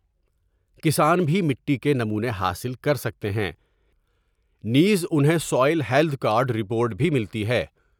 کسان بھی مٹی کے نمونے حاصل کر سکتے ہیں نیز انہیں سوائیل ہیلتھ کارڈر پورٹ بھی ملتی ہے ۔